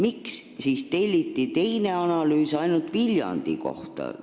Aga miks telliti teine analüüs ainult Viljandi kohta?